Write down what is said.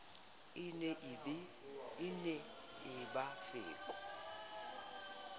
e ne e ba feko